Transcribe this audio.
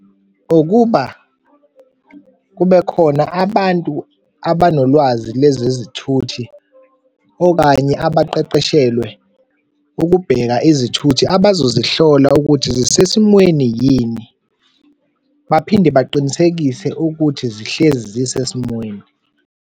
Ukuba kubekhona abantu abanolwazi lwezezithuthi okanye abaqeqeshelwe ukubheka izithuthi, abazozihlola ukuthi zisesimweni yini. Baphinde baqinisekise ukuthi zihlezi zisesimweni.